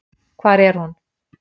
Hvar er hún?